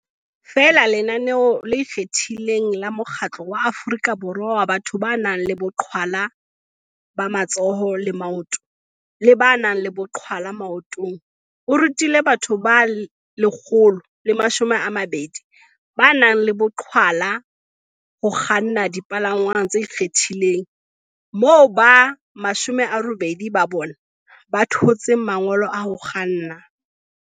Feela lenaneo le ikgethileng la Mokgatlo wa Aforika Borwa wa Batho ba nang le Boqhwa la ba Matsoho le Maoto le ba nang le Boqhwala Maotong, QASA, o rutile batho ba 120 ba nang le boqhwala ho kganna dipalangwang tse ikgethileng, moo ba 80 ba bona ba thotseng mangolo a ho kganna.